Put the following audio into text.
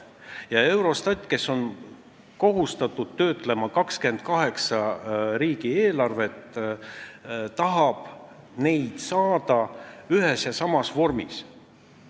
Ja Eurostat, kes on kohustatud töötlema 28 riigi eelarvet, tahab neid saada ühes ja samas vormis.